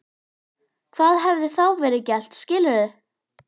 Hvað hefði þá verið gert skilur þú?